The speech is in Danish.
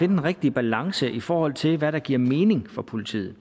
den rigtige balance i forhold til hvad der giver mening for politiet